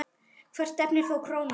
Hvert stefnir þá krónan?